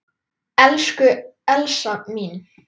Elsku Elsa mín.